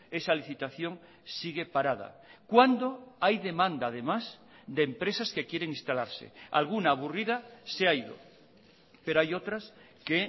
esa licitación sigue parada cuando hay demanda además de empresas que quieren instalarse alguna aburrida se ha ido pero hay otras que